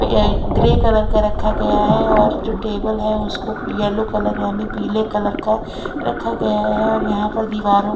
grey colour का रखा गया है और जो टेबल है उसको यलो कलर याने पीले कलर का रखा गया है और यहाँ पर दीवारो --